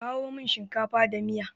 A kawo min shinkafa da miya.